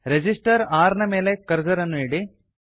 resistor R ನ ಮೇಲೆ cursor ನ್ನು ಇಡಿ